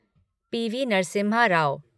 PV. Narasimha Rao